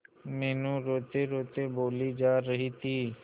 मीनू रोतेरोते बोली जा रही थी